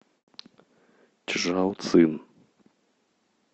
чжаоцин